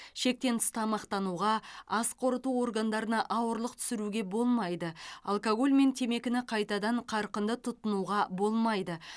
шектен тыс тамақтануға ас қорыту органдарына ауырлық түсіруге болмайды алкоголь мен темекіні қайтадан қарқынды тұтынуға болмайды